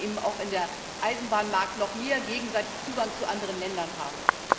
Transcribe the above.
Und wir wollen eben auch in dem Eisenbahnmarkt noch mehr gegenseitigen Zugang zu anderen Ländern haben.